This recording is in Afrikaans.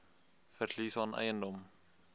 verlies aan eiendom